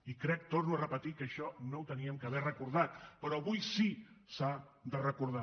i crec ho torno a repetir que això no havíem d’haver recordat però avui sí que s’ha de recordar